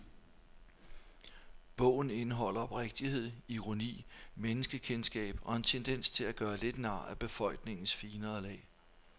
Bogen indeholder oprigtighed, ironi, menneskekendskab og en tendens til at gøre lidt nar af befolkningens finere lag.